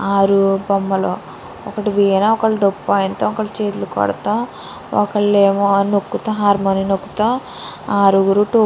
ఆరు బొమ్మలు ఒకలు వీణ ఒకలు దోపు వాయిచడం ఒక్కలు హార్మోని నుకుతో ఆరుగురు --